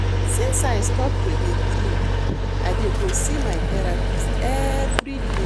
Since I stop to dey drink I dey go see my therapist everyday